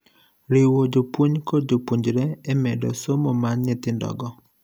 riwo jopuonj kod jopuonjre e medo somo mar nyithindo go